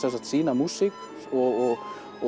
sína músík og